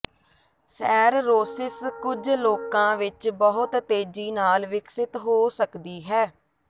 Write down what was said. cirrhosis ਕੁਝ ਲੋਕਾਂ ਵਿਚ ਬਹੁਤ ਤੇਜ਼ੀ ਨਾਲ ਵਿਕਸਿਤ ਹੋ ਸਕਦੀ ਹੈ